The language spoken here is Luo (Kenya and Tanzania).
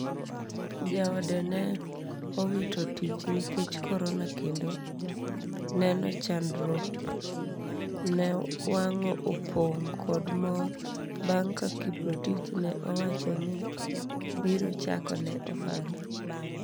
jaode ne owitotich nikech Korona kendo neno chandruok ne wango opong kod mor bang ka Kiprotich ne owacho ni biro chako ne ohala